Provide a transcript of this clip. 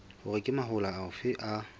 hore ke mahola afe a